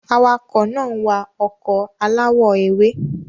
Awakọ̀ náà ń wa ọkọ̀ aláwọ̀ ewé.